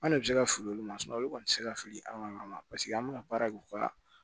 Anw de bɛ se ka fili olu ma olu kɔni tɛ se ka fili an ka yɔrɔ ma paseke an bɛna baara kɛ u ka